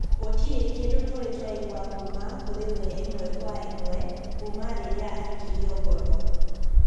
Gũtirĩ kĩndũ tũrĩ twaigua kuma kurĩwe imwe kwa imwe, kuma rĩrĩa aikirio ngono